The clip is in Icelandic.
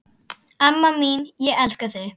Amma mín, ég elska þig.